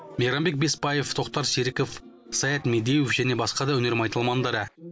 мейрамбек бесбаев тоқтар серіков саят медеуов және басқа да өнер майталмандары